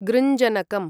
गृञ्जनकम्